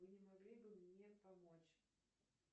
вы не могли бы мне помочь